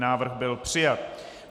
Návrh byl přijat.